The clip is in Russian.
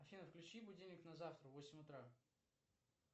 афина включи будильник на завтра восемь утра